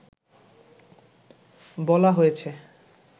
বলা হয়েছে